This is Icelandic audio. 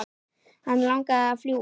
Hann langaði að fljúga.